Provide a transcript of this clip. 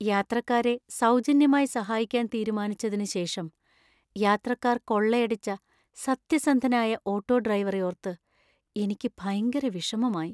യാത്രക്കാരെ സൗജന്യമായി സഹായിക്കാൻ തീരുമാനിച്ചതിന് ശേഷം യാത്രക്കാര്‍ കൊള്ളയടിച്ച സത്യസന്ധനായ ഓട്ടോ ഡ്രൈവറെ ഓർത്ത് എനിക്ക് ഭയങ്കര വിഷമമായി .